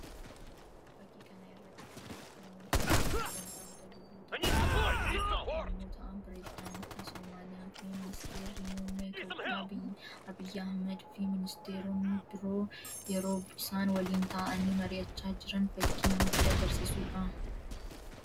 Fakkii kana irratti kan argamu hoggantoota biyyoota addaa addaa yammuu ta'an pirezidaantii Somaaliyaa fi ministeerri muummee Itoophiyaa Abiyyi Ahimad fi ministeeronni biroo yeroo isaan waliin ta'anii marihachaa jiran fakkii namatti agarsiisuu dha.